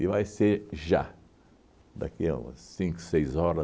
E vai ser já, daqui a umas cinco, seis hora